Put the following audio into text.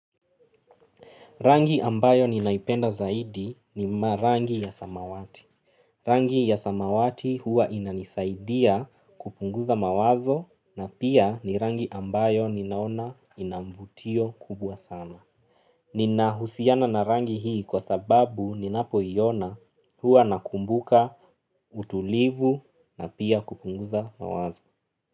Rangi ambayo ninaipenda zaidi ni ma rangi ya samawati. Rangi ya samawati huwa inanisaidia kupunguza mawazo na pia ni rangi ambayo ninaona inamvutio kubwa sana. Ninahusiana na rangi hii kwa sababu ninapo iona huwa nakumbuka utulivu na pia kupunguza mawazo.